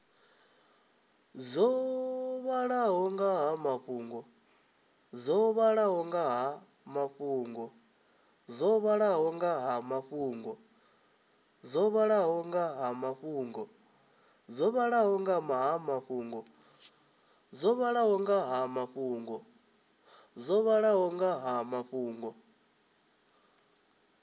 dzo vhalaho nga ha mafhungo